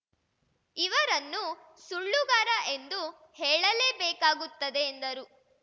ಇವರನ್ನು ಸುಳ್ಳುಗಾರ ಎಂದು ಹೇಳಲೇಬೇಕಾಗುತ್ತದೆ ಎಂದರು